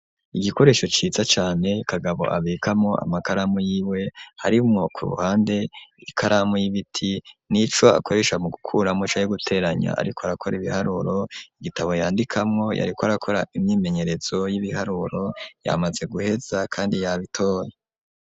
Igikoresho ciza cane Kagabo abikamwo amakaramu yiwe harimwo ku ruhande ikaramu y'ibiti nico akoresha mu gukuramwo canke guteranya ariko arakora ibiharuro igitabo yandikamwo yariko arakora imyimenyerezo y'ibiharuro yamaze guheza kandi yabitoye.